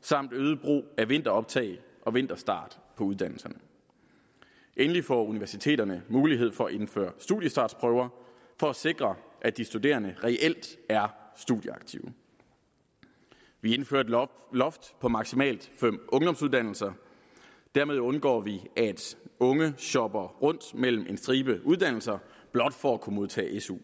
samt øget brug af vinteroptag og vinterstart på uddannelserne endelig får universiteterne mulighed for at indføre studiestartsprøver for at sikre at de studerende reelt er studieaktive vi indfører et loft loft på maksimalt fem ungdomsuddannelser dermed undgår vi at unge shopper rundt mellem en stribe uddannelser blot for at kunne modtage su